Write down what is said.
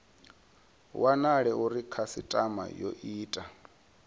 wanala uri khasitama yo ita